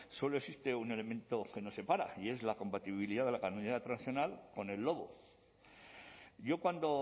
solo existe un elemento que nos separa y es la compatibilidad de la ganadería tradicional con el lobo yo cuando